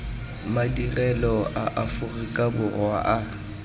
madirelo a aforika borwa a